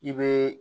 I bɛ